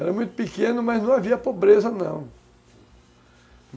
Era muito pequeno, mas não havia pobreza não.